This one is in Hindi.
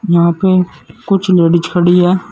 यहां पे कुछ लेडिस खड़ी हैं।